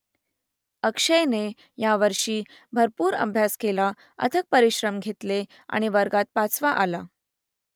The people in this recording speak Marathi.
अक्षयने यावर्षी भरपूर अभ्यास केला अथक परिश्रम घेतले आणि वर्गात पाचवा आला